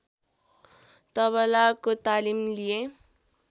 तबलाको तालिम लिए